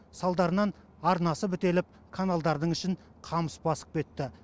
салдарынан арнасы бітеліп каналдардың ішін қамыс басып кетті